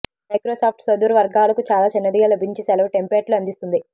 Microsoft సుదూర వర్గాలకు చాలా చిన్నదిగా లభించే సెలవు టెంప్లేట్లు అందిస్తుంది